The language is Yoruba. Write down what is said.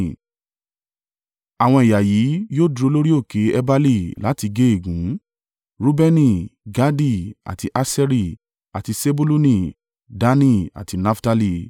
Àwọn ẹ̀yà yìí yóò dúró lórí òkè Ebali láti gé ègún: Reubeni, Gadi, àti Aṣeri, àti Sebuluni, Dani, àti Naftali.